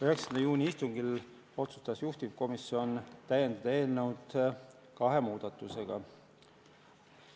9. juuni istungil otsustas juhtivkomisjon täiendada eelnõu kahe muudatusega.